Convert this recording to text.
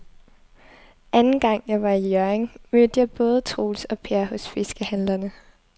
Anden gang jeg var i Hjørring, mødte jeg både Troels og Per hos fiskehandlerne.